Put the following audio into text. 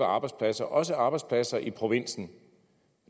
arbejdspladser også arbejdspladser i provinsen